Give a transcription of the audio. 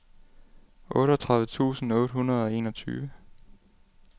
otteogtredive tusind otte hundrede og enogtyve